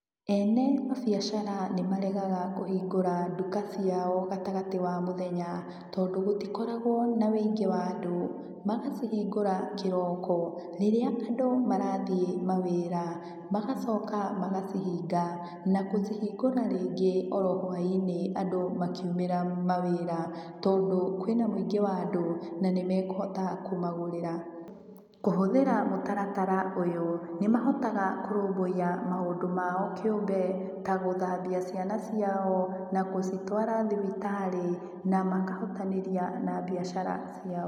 Ene mabiacara nĩ maregaga kũhingũra nduka ciao gatagatĩ wa mũthenya tondũ gũtikoragwo na wũingĩ wa andũ. Magacihingũra kĩroko, rĩrĩa andũ marathiĩ mawĩra, magacoka magacihinga na kũcihingũra rĩngĩ o ro hwaĩ-inĩ andũ makĩumĩra mawĩra, tondũ kwĩna mũingĩ wa andũ, na nĩmekũhota kũmagũrĩra. Kũhũthira mũtaratara ũyũ, nĩ mahotaga kũrũmbũiya maũndũ mao kĩũmbe, ta gũthambia ciana ciao, na kũcitwara thibitarĩ, na makahotanĩria na mbiacara ciao.